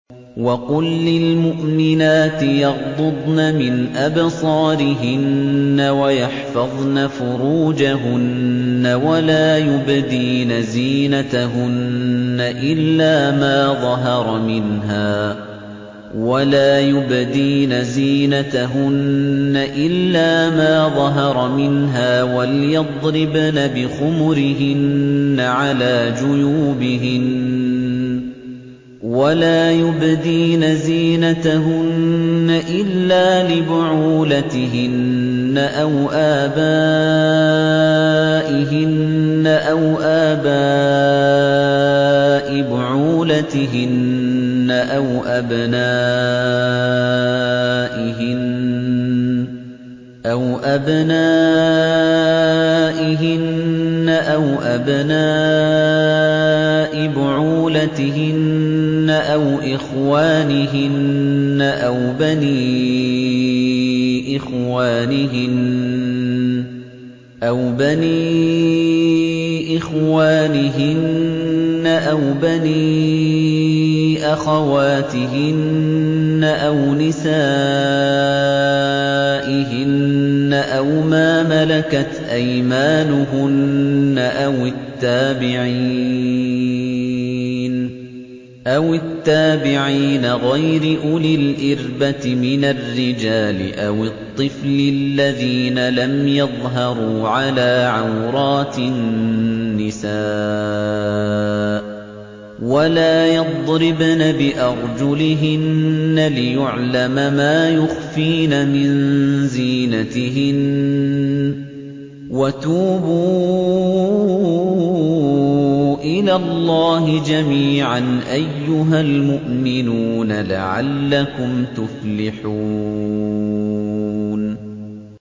وَقُل لِّلْمُؤْمِنَاتِ يَغْضُضْنَ مِنْ أَبْصَارِهِنَّ وَيَحْفَظْنَ فُرُوجَهُنَّ وَلَا يُبْدِينَ زِينَتَهُنَّ إِلَّا مَا ظَهَرَ مِنْهَا ۖ وَلْيَضْرِبْنَ بِخُمُرِهِنَّ عَلَىٰ جُيُوبِهِنَّ ۖ وَلَا يُبْدِينَ زِينَتَهُنَّ إِلَّا لِبُعُولَتِهِنَّ أَوْ آبَائِهِنَّ أَوْ آبَاءِ بُعُولَتِهِنَّ أَوْ أَبْنَائِهِنَّ أَوْ أَبْنَاءِ بُعُولَتِهِنَّ أَوْ إِخْوَانِهِنَّ أَوْ بَنِي إِخْوَانِهِنَّ أَوْ بَنِي أَخَوَاتِهِنَّ أَوْ نِسَائِهِنَّ أَوْ مَا مَلَكَتْ أَيْمَانُهُنَّ أَوِ التَّابِعِينَ غَيْرِ أُولِي الْإِرْبَةِ مِنَ الرِّجَالِ أَوِ الطِّفْلِ الَّذِينَ لَمْ يَظْهَرُوا عَلَىٰ عَوْرَاتِ النِّسَاءِ ۖ وَلَا يَضْرِبْنَ بِأَرْجُلِهِنَّ لِيُعْلَمَ مَا يُخْفِينَ مِن زِينَتِهِنَّ ۚ وَتُوبُوا إِلَى اللَّهِ جَمِيعًا أَيُّهَ الْمُؤْمِنُونَ لَعَلَّكُمْ تُفْلِحُونَ